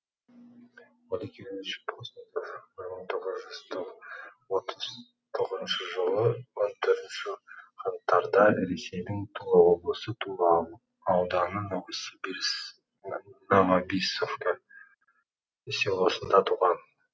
олег юрьевич постников бір мың тоғыз жүз отыз тоғызыншы жылы он төртінші қаңтарда ресейдің тула облысы тула ауданы новобиссовка селосында туған